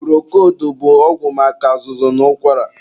Purokoldu bụ ọgwụ maka azụzụ na ụkwara.